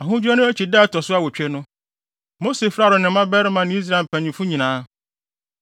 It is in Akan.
Ahodwira no akyi da a ɛto so awotwe no, Mose frɛɛ Aaron ne ne mmabarima ne Israel mpanyimfo nyinaa.